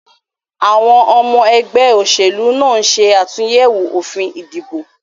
Àwon omo egbé òsèlú náà nse àtúyèwò òfin ìdìbò